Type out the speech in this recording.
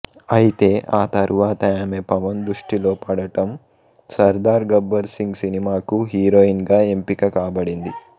అయితే ఆ తరువాత ఆమె పవన్ దృష్టిలో పడటం సర్దార్ గబ్బర్ సింగ్ సినిమాకు హీరోయిన్ గా ఎంపిక కాబడింది